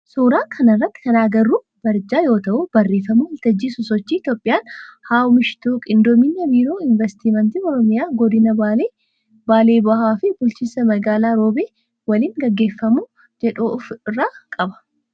Suuraa kana irratti kan agarru barjaa yoo ta'u barreeffama waltajjii sosochii Itiyoophiyaan haa oomishtuu qindoomina biiroo investimentii oromiyaa godina baalee, baalee bahaa fi B/M roobee waliin gaggeeffamu jedhu of irraa qaba.